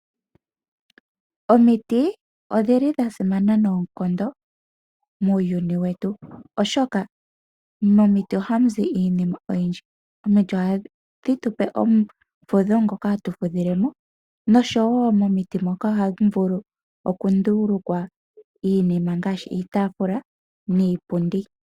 Omiti odhi dha simana noonkondo muuyuni wetu. Oshoka momiti ohamuzi iinima oyindji. Omiti ohadhi tupe ombepo ndjoka hatu fudhilemo noshowo momiti moka ohamu vulu okundulukwa iinima ngaashi iitaafula niipundi.